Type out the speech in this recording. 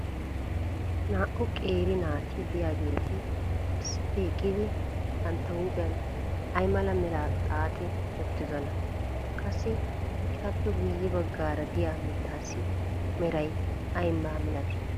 Naa"u qeeri naati diyaageeti issippe eqqidi bantta huuphiyan ay mala meraa xaaxi uttidonaa? Qassi etappe guye bagaara diya mitaassi meray aybaa malatii?